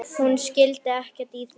Hún skildi ekkert í því.